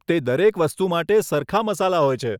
તે દરેક વસ્તુ માટે સરખા મસાલા હોય છે.